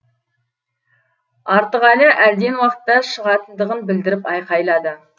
артықәлі әлден уақытта шығатындығын білдіріп айқайлады